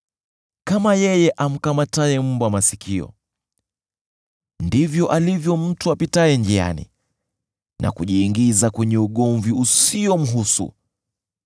Kama yeye amkamataye mbwa kwa masikio, ndivyo alivyo mtu apitaye njiani na kujiingiza kwenye ugomvi usiomhusu.